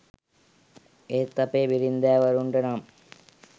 ඒත් අපේ බිරින්දෑවරුන්ටනම්